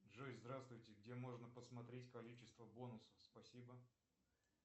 джой здравствуйте где можно посмотреть количество бонусов спасибо